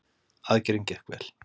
Aðgerðin gekk vel.